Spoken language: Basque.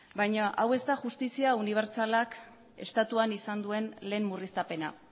baina hau ez da justizia unibertsalak estatuan izan duen lehen murriztapena